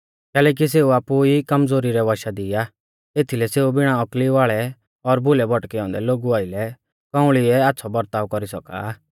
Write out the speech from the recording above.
कैलैकि सेऊ आपु ई कमज़ोरी रै वशा दी आ एथीलै सेऊ बिणा औकली वाल़ै और भुलै भौटकै औन्दै लोगु आइलै कौंउल़िऐ आच़्छ़ौ बर्ताव कौरी सौका